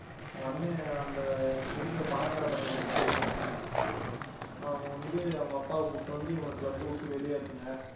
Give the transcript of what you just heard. உடனே அந்த இருக்கிற பணக்கார பையன் இருக்கிறான்ல அவன் வந்து அவங்க அப்பாவை கூட்டினு வந்து இவனை club அ விட்டு வெளியேத்துங்க